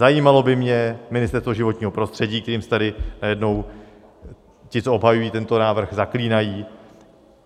Zajímalo by mě Ministerstvo životního prostředí, kterým se tady najednou ti, co obhajují tento návrh, zaklínají.